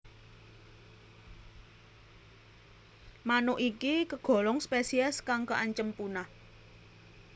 Manuk iki kagolong spesies kang kaancam punah